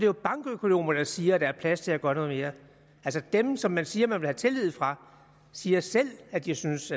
jo bankøkonomer der siger at der er plads til at gøre noget mere altså dem som man siger man vil have tillid fra siger selv at de synes